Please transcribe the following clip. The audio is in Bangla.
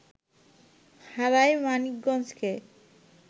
হারায় মানিকগঞ্জকে